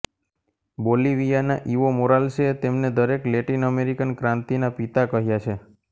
બોલીવિયાના Evo મોરાલ્સેતેમનેદરેક Latin American ક્રાંતિના પિતાકહ્યા છે